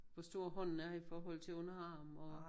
Hvor stor hånden er i forhold til underarm og